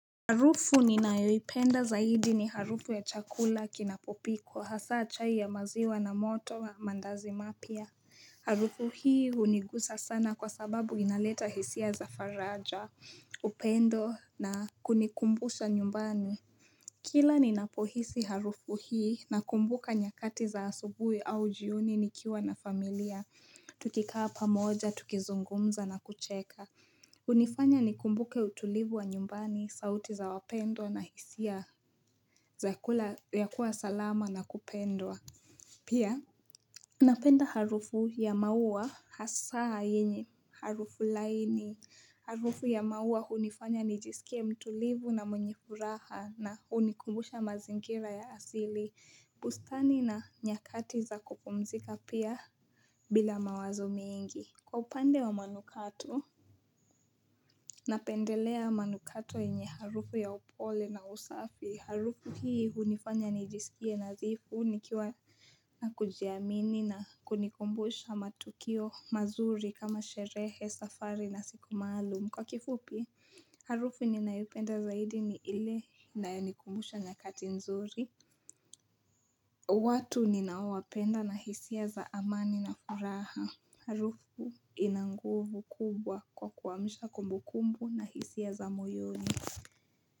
Harufu ni nayoipenda zaidi ni harufu ya chakula kinapopikwa, hasa chai ya maziwa na moto wa mandazi mapya. Harufu hii unigusa sana kwa sababu inaleta hisia za faraja, upendo na kunikumbusha nyumbani. Kila ni napohisi harufu hii na kumbuka nyakati za asubuhi au jioni nikiwa na familia. Tukikaa pamoja, tukizungumza na kucheka. Unifanya ni kumbuke utulivu wa nyumbani, sauti za wapendwa na hisia za kula ya kuwa salama na kupendwa Pia napenda harufu ya maua hasaa enye harufu laini Harufu ya maua unifanya ni jisikia mtulivu na mwenye furaha na unikumbusha mazingira ya asili bustani na nyakati za kupumzika pia bila mawazo mingi. Kwa upande wa manukatu Napendelea manukato enye harufu ya upole na usafi. Harufu hii unifanya nijisikie nadhifu nikiwa na kujiamini na kunikumbusha matukio mazuri kama sherehe safari na siku maalum. Kwa kifupi, harufu ninaipenda zaidi ni ile naionikumbusha na kati nzuri. Watu ninaowapenda na hisia za amani na kuraha, harufu ina nguvu kubwa kwa kuwamisha kumbukumbu na hisia za moyoni.